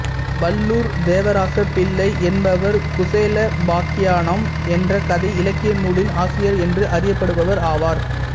வல்லூர் தேவராசப்பிள்ளை என்பவர் குசேலோபாக்கியானம் என்ற கதை இலக்கிய நூலின் ஆசிரியர் என்று அறியப்படுபவர் ஆவார்